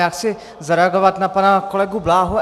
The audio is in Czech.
Já chci zareagovat na pana kolegu Bláhu.